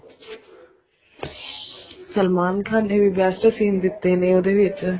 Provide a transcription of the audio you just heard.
ਸਲਮਾਨ ਖਾਨ ਨੇ best seen ਦਿੱਤੇ ਨੇ ਉਹਦੇ ਵਿੱਚ